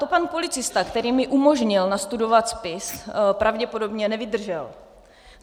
To pan policista, který mi umožnil nastudovat spis, pravděpodobně nevydržel.